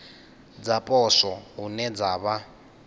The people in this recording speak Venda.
dza poswo hune dza vha